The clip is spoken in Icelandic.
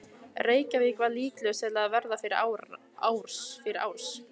Reykjavík var líklegust til að verða fyrir árs.